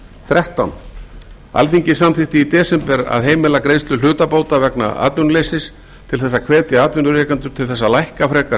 þrettán alþingi samþykkti í desember að heimila greiðslu hlutabóta vegna atvinnuleysis til að hvetja atvinnurekendur til að lækka frekar